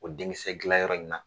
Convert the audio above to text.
O denkiisɛ dilan yɔrɔ in na